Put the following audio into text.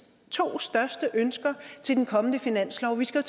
to største ønsker er til den kommende finanslov vi skal